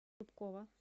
зубкова